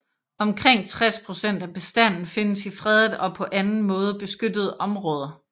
Omkring 60 procent af bestanden findes i fredede og på anden måde beskyttede områder